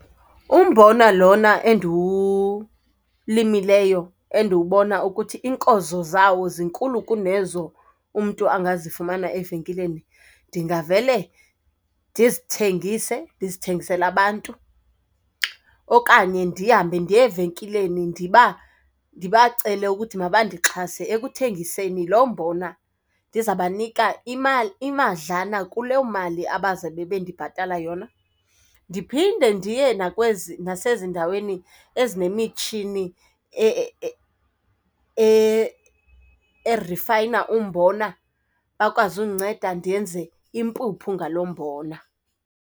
Umbona lona endiwulimileyo, endiwubona ukuthi iinkozo zawo zinkulu kunezo umntu angazifumana evenkileni, ndingavele ndizithengise. Ndizithengisele abantu okanye ndihambe ndiye evenkileni ndibacele ukuthi mabandixhase ekuthengiseni lo mbona, ndiza banika imali imadlana kuleyo mali abazabe bendibhatala yona. Ndiphinde ndiye nasezindaweni ezinemitshini erifayina umbona bakwazi undinceda ndenze impuphu ngalo mbona.